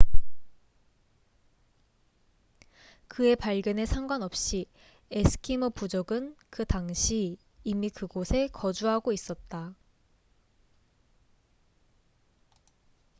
그의 발견에 상관없이 에스키모 부족은 그 당시 이미 그곳에 거주하고 있었다